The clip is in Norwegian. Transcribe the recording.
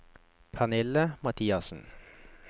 Pernille Mathiassen